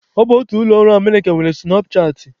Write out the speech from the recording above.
Ọ bụ otu ụlọ ọrụ Emerịka nwe sụnapchaatị.